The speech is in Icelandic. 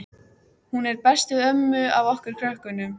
Hún er best við ömmu af okkur krökkunum.